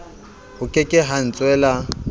ho ke ke ha ntswela